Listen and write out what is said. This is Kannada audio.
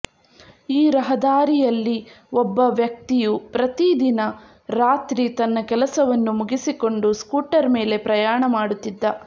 ಈ ರಹದಾರಿಯಲ್ಲಿ ಒಬ್ಬ ವ್ಯಕ್ತಿಯು ಪ್ರತಿ ದಿನ ರಾತ್ರಿ ತನ್ನ ಕೆಲಸವನ್ನು ಮುಗಿಸಿಕೊಂಡು ಸ್ಕೂಟರ್ ಮೇಲೆ ಪ್ರಯಾಣ ಮಾಡುತ್ತಿದ್ದ